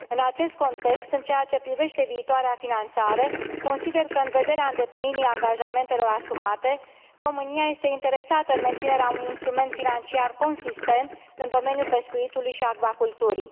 În acest context, în ceea ce privește viitoarea finanțare, consider că, în vederea îndeplinirii angajamentelor asumate, România este interesată în menținerea unui instrument financiar consistent în domeniul pescuitului și acvaculturii.